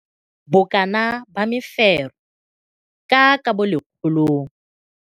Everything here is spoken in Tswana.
Bokana ba mefero ka ka bolekgolong